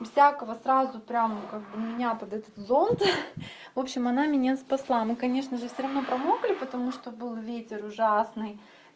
без всякого сразу прямо как бы меня тогда этот зонт ха-ха в общем она меня спасла мы конечно же всё равно промокли потому что был ветер ужасный